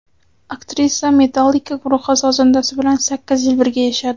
Aktrisa Metallica guruhi sozandasi bilan sakkiz yil birga yashadi.